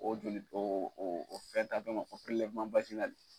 O joli o o fɛn ta damaw o